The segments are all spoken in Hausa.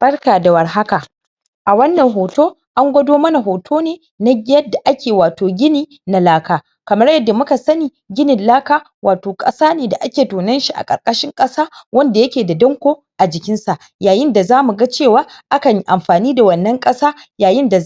barka da war haka a wannan hotan angwado mana hoto ne na yadda ake gini na laka kamar yanda muka sani ginin laka wato kasan da ake tonanshi a ƙarƙashin ƙasa wanda yake da danko a jikinsa yayin da zamu ga cewa akan amfani da wannan ƙasa yayin da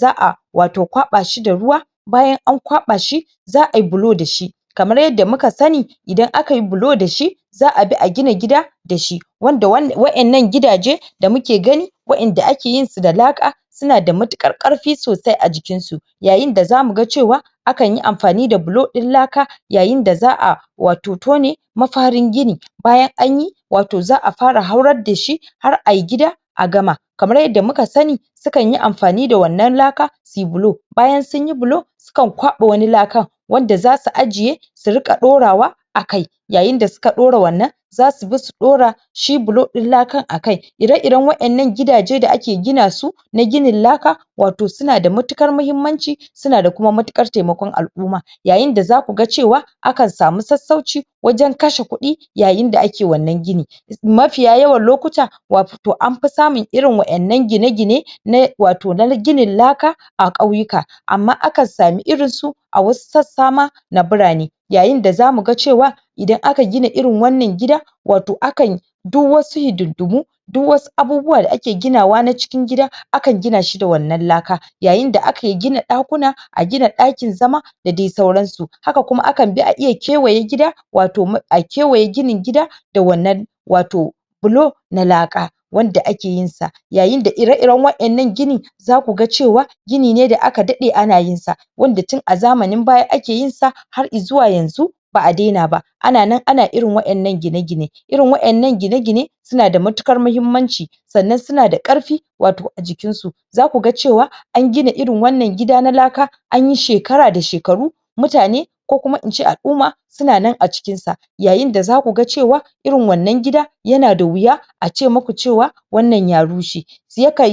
wato za a kwaɓashi da ruwa bayan an kwaɓashi za ayi bilo dashi kamar yanda muka sani idan akayi bilo dashi za abi a gina gida dashi wanda waɗannan gidaje damu ke gani waɗanda akeyi yinsu da laka suna da matukar karfi a jikinsu yayin da zamu ga cewa akanyi amfani da bilo din laka yayin da za a wato tone mafarin gini bayan anyi wato za a fara haurar dashi har ayi gida a gama kamar yanda muka sani sukanyi amfani da wannan laka suyi bilo bayan sunyi bilo sukan kwaɓa wani lakar wanda zasu ajje su riƙa ɗaurawa akai yayin da suka ɗaura wannan zasu bi su ɗaura shi bilo ɗin lakar akai ire iran waɗannan gidajan da ake ginasu na ginin laka wato suna da matukar mahimmanci suna da kuma matuƙar taimakon al'uma yayin da zaku ga cewa akan samu sassauci wajan kashe kuɗi yayin da ake wannan gini mafiya yawan lokuta wato anfi samun irin waɗannan gine gine na wato na ginin laka a ƙauyeka amma akan samu irinsu a wasu sassama na burane yayin da zamu ga cewa idan aka gina irin wannan gidan wato akanyi duk wasu hidindimu duk wasu abubuwa da ake ginawa na cikin gida akan ginashi da wannan laka yayin da ake gina ɗakuna ɗakuna a gina ɗakin zama da dai sauransu haka kuma akanbi a kewaye gida wato a kewaye ginin gida da wannan wato bilo na laka wanda ake yinshi yayin da ire iran waɗannan gini zaku ga cewa gini ne da aka daɗe ana yinsa wanda tun a zamanin baya ake yinsa har izuwa yanzu ba a dena ba ana nan anayin irin waɗannan gine gine irin waɗannan gine gine suna da matukar mahimmanci sannan suna da karfi wato a jikinsu zaku ga cewa an gina irin wannan gida na laka anyi shekara da shekaru mutane ko kuma ince al'uma suna nan a cikinsa yayin da zaku ga cewa irin wannan gida yana da wuya a ce muku cewa wannan ya rushe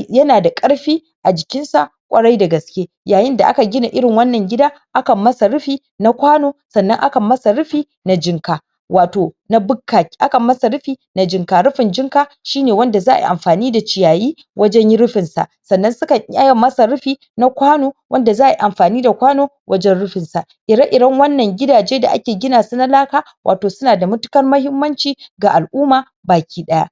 yana da karfi a jikinsa ƙorai da gaske yayin da aka gina irin wannan gida akan masa rufi na kwano sannan akan masa rufi a na jinka wato na bukka akan masa rufi rufin jinka rufin jinka shine wanda za ayi amfani da ciyaye wajan rufinsa sannan sukan iya masa rufi na ƙwano wanda za ayi amfani da kwana wajan rufinsa ire iran wannan gidaje da ake ginasu na laka wato suna da matukar mahimmanci ga al'ummata baki daya